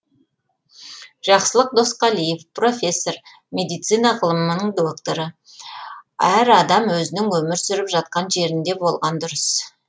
жақсылық досқалиев профессор медицина ғылымның докторы әр адам өзінің өмір сүріп жатқан жерінде болған дұрыс